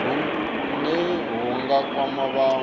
hune hu nga kwama vhanwe